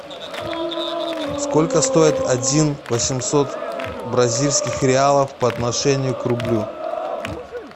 сколько стоит один восемьсот бразильских реалов по отношению к рублю